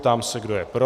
Ptám se, kdo je pro.